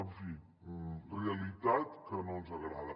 en fi realitat que no ens agrada